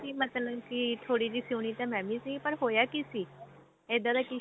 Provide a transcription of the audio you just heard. ਸੀ ਮਤਲਬ ਕੀ ਥੋੜੀ ਜੀ ਸੁਣੀ ਤਾਂ ਮੈਂ ਵੀ ਸੀ ਪਰ ਹੋਇਆ ਕੀ ਸੀ ਇੱਦਾਂ ਦਾ ਕਿ